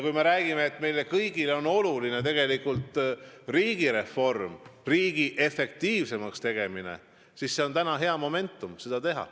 Kui me räägime, et meile kõigile on oluline riigireform, riigi efektiivsemaks tegemine, siis praegu on hea moment seda teha.